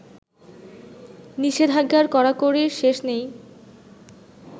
নিষেধাজ্ঞার কড়াকড়ির শেষ নেই